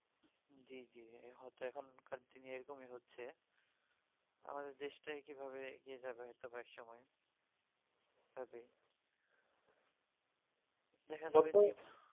জী জী হয়তো এখন কার দিনে এইরকমই হচ্ছে আমাদের দেশ তা কিভাবে এগিয়ে যাবে হয়তো কয়েক সময় হবে